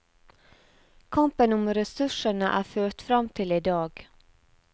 Kampen om ressursene er ført fram til i dag.